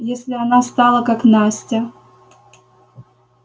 если она стала как настя